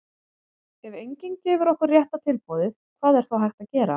ef enginn gefur okkur rétta tilboðið hvað er þá hægt að gera?